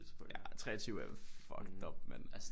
Ja 23 er fucked up mand